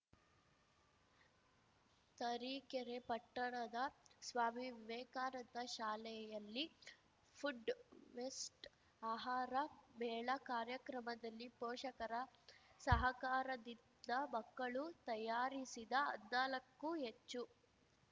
ತರೀಕೆರೆ ಪಟ್ಟಣದ ಸ್ವಾಮಿ ವಿವೇಕಾನಂದ ಶಾಲೆಯಲ್ಲಿ food fest ಆಹಾರ ಮೇಳ ಕಾರ್ಯಕ್ರಮದಲ್ಲಿ ಪೋಷಕರ ಸಹಕಾರದಿಂದ ಮಕ್ಕಳು ತಯಾರಿಸಿದ ಹದ್ನಾಲಕ್ಕು ಹೆಚ್ಚು